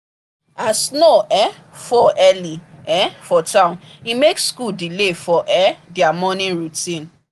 as snow um fall early um for town e make school delay for um their morning routine.